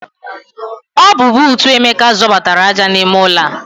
Ọ bu bootu Emeka zọbatara aja n'ime ụlọ a.